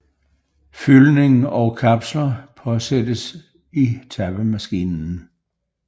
Fyldning og kapsler påsættes i tappemaskinen